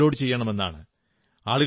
in ൽ അവ upload ചെയ്യണമെന്നാണ്